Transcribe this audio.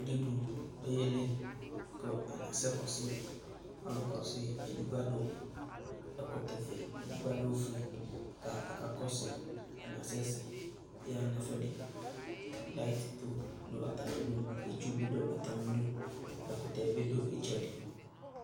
Uvidi oyéli ku akasɛ kɔsuɩ Ɔlu kɔsui edigbo adu ɛkɔtɔ fué, edigbo adu ufi ka akakɔsui Atani asɛsɛ yaha nu ɛfuɛdi, lit tchu du atamidu itchubi du atamidu, akpo ɛkutɛ bi nu itchɛdi